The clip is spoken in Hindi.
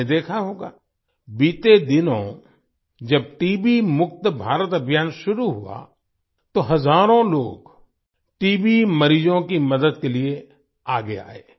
आपने देखा होगा बीते दिनों जब टीबी मुक्त भारत अभियान शुरू हुआ तो हजारों लोग टीबी मरीजों की मदद के लिए आगे आए